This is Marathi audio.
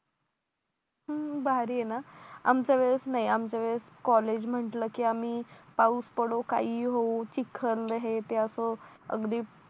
अं भारी आहे ना आमच्यावेळेस नाही आमच्यावेळेस कॉलेज म्हटलं की आम्ही पाऊस पडो काहीही होऊ चिख्खल हे ते असं अगदीच